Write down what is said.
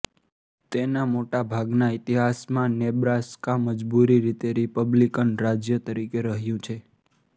તેના મોટા ભાગના ઇતિહાસમાં નેબ્રાસ્કા મજબૂત રીતે રિપબ્લિકન રાજ્ય તરીકે રહ્યું છે